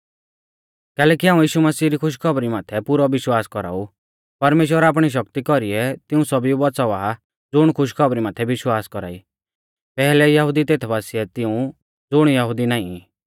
कैलैकि हाऊं यीशु मसीह री खुशखौबरी माथै पुरौ विश्वास कौराऊ परमेश्‍वर आपणी शक्ति कौरीऐ तिऊं सौभीऊ बौच़ावा ज़ुण खुशखौबरी माथै विश्वास कौरा ई पैहलै यहुदी तेथ बासिऐ तिऊं ज़ुण यहुदी नाईं ई